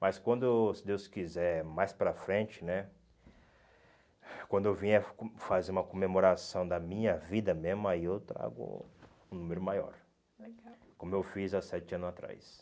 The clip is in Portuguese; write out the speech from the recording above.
Mas quando, se Deus quiser, mais para frente né, quando eu vier fazer uma comemoração da minha vida mesmo, aí eu trago um número maior, como eu fiz há sete ano atrás.